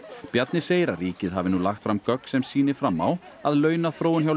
Bjarni segir að ríkið hafi nú lagt fram gögn sem sýni fram á að launaþróun hjá